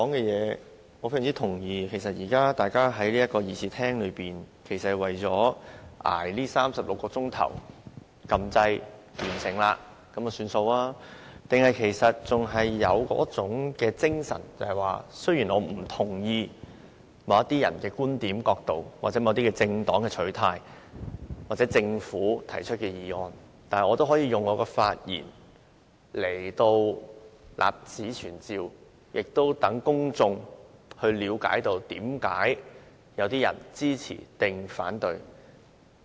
現時大家在議事廳內是為了捱過這36小時，按下按鈕，完成任務便了事，還是仍然有一種精神，便是雖然我不贊同某些人的觀點或角度，又或某些政黨的取態或政府提出的議案，但我也可以透過發言立此存照，亦讓公眾了解為何有人支持或反對。